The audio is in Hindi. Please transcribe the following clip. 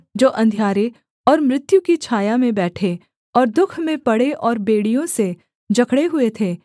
जो अंधियारे और मृत्यु की छाया में बैठे और दुःख में पड़े और बेड़ियों से जकड़े हुए थे